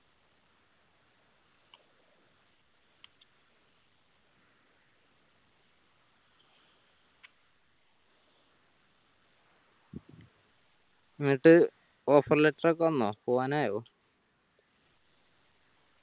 എന്നിട്ട് offer letter ഒക്കെ വന്നോ പോകാനായോ